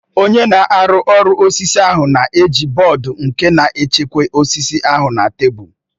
Onye na-arụ ọrụ osisi ahụ na-eji bọọdụ nku na-echekwa osisi ahụ na tebụl